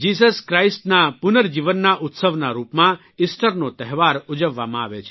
Jesus Chirstના પુર્નજીવનના ઉત્સવના રૂપમાં ઇસ્ટરનો તહેવાર ઉજવવામાં આવે છે